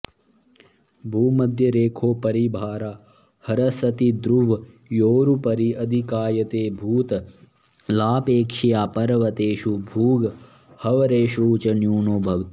भूमध्यरेखोपरि भारः ह्रसति ध्रुवयोरुपरि अधिकायते भूतलापेक्षया पर्वतेषु भूगह्वरेषु च न्यूनो भवति